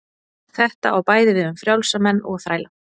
þetta á bæði við um frjálsa menn og þræla